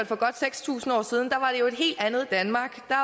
for godt seks tusind år siden var det jo et helt andet danmark der